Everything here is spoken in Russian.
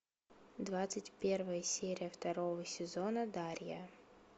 двадцать первая серия второго сезона дарья